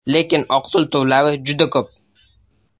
Lekin oqsil turlari juda ko‘p.